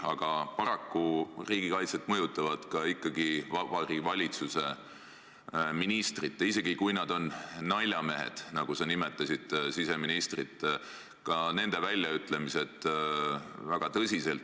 Aga paraku mõjutavad riigikaitset ikkagi väga tõsiselt ka Vabariigi Valitsuse ministrite väljaütlemised, isegi kui need ministrid on naljamehed, nagu sa nimetasid siseministrit.